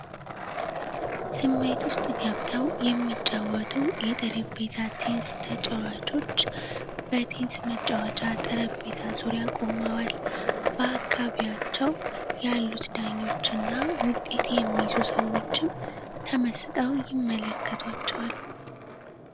ስሜት ዉስጥ ገብተው የሚጫወቱ የጠረጴዛ ቴኒስ ተጫዋቾች በቴኒስ መጫወቻ ጠረጴዛ ዙሪያ ቆመዋል። በአካባቢያቸው ያሉት ዳኞች እና ዉጤት የሚይዙ ሰዎችም ተመስጠው ይመለከቷቸዋል።